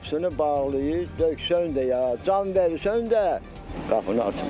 Qapısını bağlayır, döksən də ya can verirsən də qapını açmır.